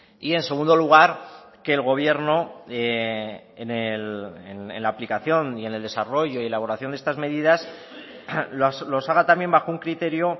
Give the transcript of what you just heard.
y en segundo lugar que el gobierno en la aplicación y en el desarrollo y elaboración de estas medidas los haga también bajo un criterio